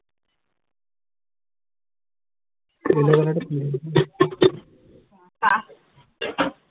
চাহ